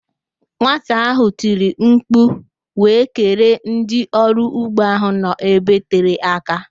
Nwata ahụ tiri mkpu wee kelee ndị ọrụ ugbo ahụ nọ ebe tere aka